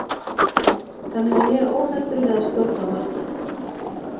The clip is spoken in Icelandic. Þannig að ég er óhræddur við að skjóta á markið.